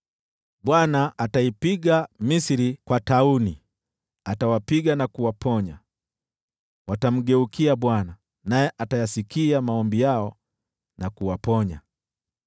Bwana ataipiga Misri kwa tauni; atawapiga na kuwaponya. Watamgeukia Bwana , naye atayasikia maombi yao na kuwaponya.